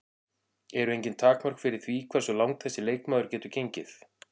Eru engin takmörk fyrir því hversu langt þessi leikmaður getur gengið?